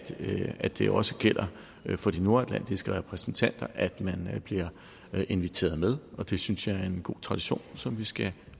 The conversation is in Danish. at det også gælder for de nordatlantiske repræsentanter at de bliver inviteret med og det synes jeg er en god tradition som vi skal